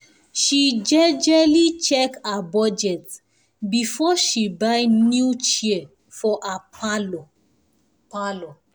she jejely check her budget before she buy new chair for her parlour parlour